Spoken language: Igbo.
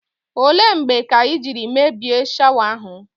Ole mgbe ka i jiri mebie shawa ahụ?